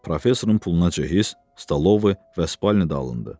Professorun puluna cehiz, stalovu və spalnı da alındı.